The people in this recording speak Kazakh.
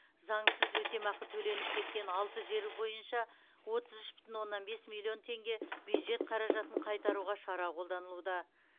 заңсыз өтемақы төленіп кеткен алты жер бойынша отыз үш бүтін оннан бес миллион теңге бюджет қаражатын қайтаруға шара қолданылуда